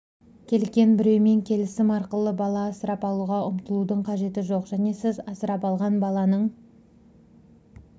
келген біреумен келісім арқылы бала асырап алуға ұмтылудың қажеті жоқ және сіз асырап алған баланың